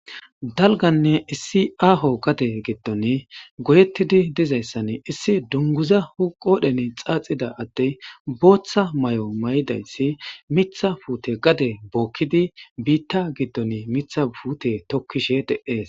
dalganne issi aaho gade giddon goyettidi dizayssan issi dunguza hoqodhene xaaxida addey booththa may7o may7idayssi mitha puute gade bookkidi biitta giddon mitha puute tokkishe de7ees